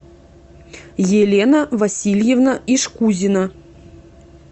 елена васильевна ишкузина